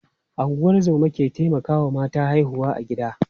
Ungozoma ke taimakawa mata haihuwa a gida.